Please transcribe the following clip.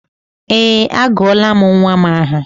Ee, agụọla m nnwa m aha